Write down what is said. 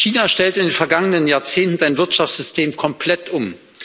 China stellte in den vergangenen Jahrzehnten sein Wirtschaftssystem komplett um.